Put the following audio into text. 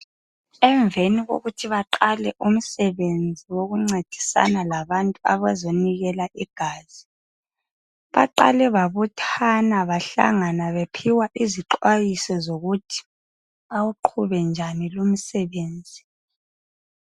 Emveni kokuthi baqale umsebenzi wokuncedisana labantu abazonikela igazi, baqale babuthana bahlangana bephiwa izixwayiso zokuthi, bawuqhube njani lumsebenzi.